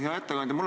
Hea ettekandja!